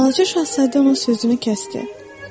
Balaca şahzadə onun sözünü kəsdi.